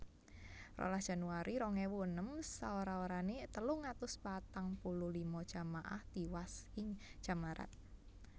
rolas Januari rong ewu enem Saora orané telung atus patang puluh lima jamaah tiwas ing Jammarat